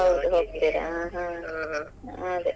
ಹೌದು ಹೋಗ್ತೀರಾ ಅದೇ.